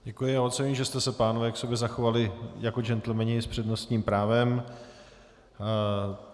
Děkuji a oceňuji, že jste se, pánové, k sobě zachovali jako džentlmeni s přednostním právem.